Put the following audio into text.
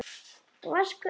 Vaska upp?